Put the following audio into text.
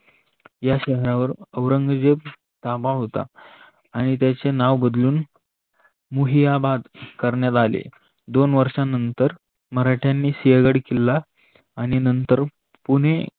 या शहरावर ओरंगजेबाचा ताबा होता आणि त्याचे नाव बदलून मुहीयाबाद करणात आले. दोन वर्षा नंतर मराठयांनी सिंहगड किल्ला आणि नंतर पुणे